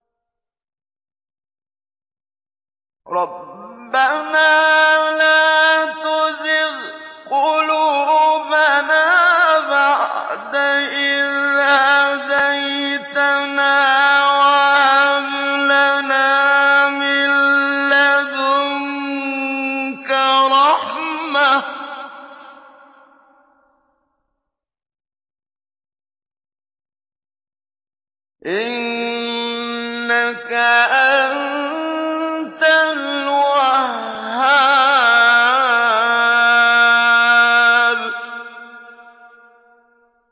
رَبَّنَا لَا تُزِغْ قُلُوبَنَا بَعْدَ إِذْ هَدَيْتَنَا وَهَبْ لَنَا مِن لَّدُنكَ رَحْمَةً ۚ إِنَّكَ أَنتَ الْوَهَّابُ